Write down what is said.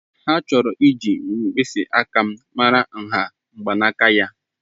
Ha chọrọ iji mkpịsị aka m mara nha mgbanaka ya.